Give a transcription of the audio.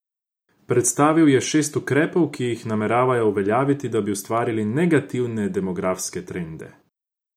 Predstavil je šest ukrepov, ki jih nameravajo uveljaviti, da bi ustavili negativne demografske trende.